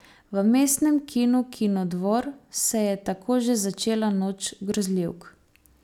V Mestnem kinu Kinodvor se je tako že začela Noč grozljivk.